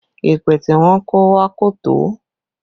Yẹpẹ tí wọn kó wá kò tó